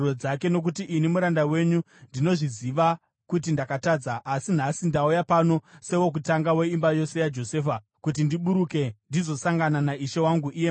Nokuti ini muranda wenyu ndinozviziva kuti ndakatadza, asi nhasi ndauya pano sewokutanga weimba yose yaJosefa kuti ndiburuke ndizosangana naishe wangu iye mambo.”